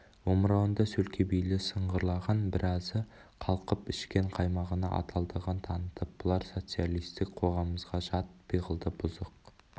омырауында сөлкебейлер сыңғырлаған біразы қалқып ішкен қаймағына адалдығын танытып бұлар социалистік қоғамымызға жат пиғылдағы бұзық